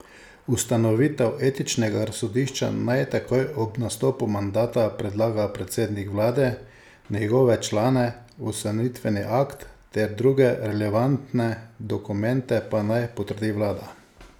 Ustanovitev etičnega razsodišča naj takoj ob nastopu mandata predlaga predsednik vlade, njegove člane, ustanovitveni akt ter druge relevantne dokumente pa naj potrdi vlada.